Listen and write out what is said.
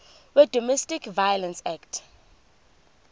wedomestic violence act